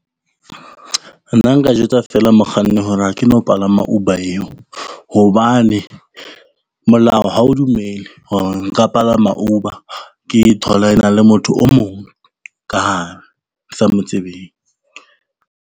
Nna nka jwetsa fela mokganni hore ha ke no palama Uber eo, hobane molao ha o dumele hore nka palama Uber ke tholana le motho o mong ka hare ke sa mo tsebeng.